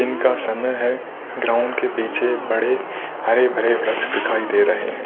दिन का समय है ग्राउंड के पीछे बड़े हरे भरे वृक्ष दिखाई दे रहे हैं।